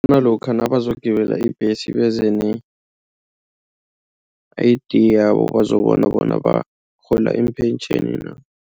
Nalokha nabazokugibela ibhesi beze ne-I_D yabo bazokubona bona abarhola ipentjheni na.